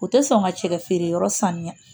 U tɛ sɔn ka cɛkɛ feere yɔrɔ saniya